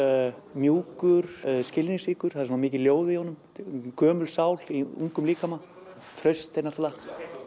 mjúkur skilningsríkur það er svona mikið ljóð í honum gömul sál í ungum líkama traust er náttúrulega